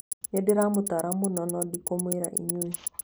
Nĩndĩramũtaara mũno, no ndingĩmwĩra inyuĩ